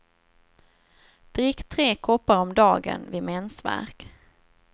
Drick tre koppar om dagen vid mensvärk.